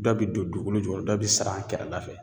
Dɔ bi don dukukolo jukɔrɔ dɔ bi siran a kɛrɛda fɛ